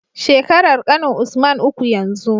Shekarar ƙanin usman uku yanzu